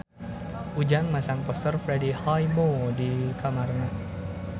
Ujang masang poster Freddie Highmore di kamarna